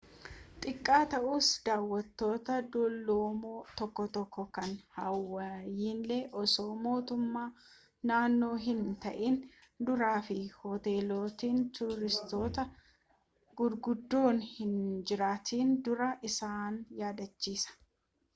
xiqqaa ta'us daawattoota dulloomoo tokko tokkoo kan hawaayiin osoo motummaa naannoo hin ta'iin dura fi hoteelotni tuuristootaa guguddoon hin jiraatin duraa isaan yaadachiisa